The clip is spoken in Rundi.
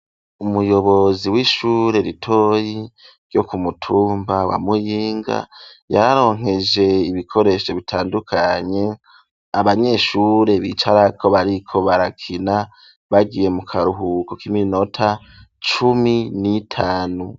Umuyobozi w'ishure ritoyi ryo kumutumba wa Muyinga yararonkeje ibikoresho bitandukanye abanyeshure bicarako bariko barakina bagiye mu karuhuko kiminota cumi n'itanu.